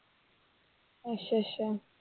ਅੱਛਾ ਅੱਛਾ।